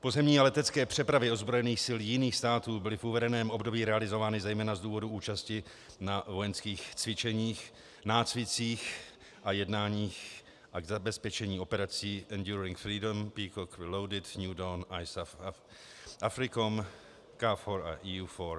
Pozemní a letecké přepravy ozbrojených sil jiných států byly v uvedeném období realizovány zejména z důvodu účasti na vojenských cvičeních, nácvicích a jednáních a k zabezpečení operací ENDURING FREEDOM, PEACOCK RELOADED, NEW DAWN, ISAF, AFRICOM, KFOR a EUFOR.